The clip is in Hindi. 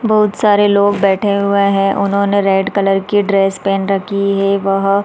बहुत सारे लोग बैठे हुए है उन्होंने रेड कलर की ड्रेस पहन रखी है बहुत --